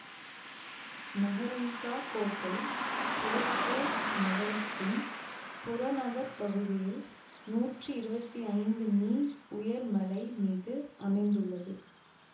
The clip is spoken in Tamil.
மெஹ்ரன்காஹ் கோட்டை சோத்பூர் நகரத்தின் புறநகர்பகுதியில் நூற்றி இருவத்தி ஐந்து மீ உயர மலை மீது அமைந்துள்ளது